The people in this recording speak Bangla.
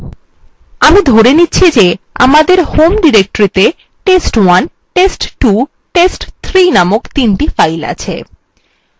আমি ধরে নিচ্ছি যে যে আমাদের home ডিরেক্টরিতে test1 test2 test3 named তিনটি files আছে